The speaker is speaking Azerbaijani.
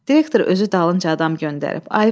Direktor özü dalınca adam göndərib.